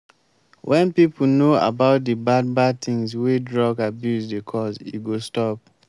wen pipo know about de bad bad things wey drug abuse dey cos e go stop.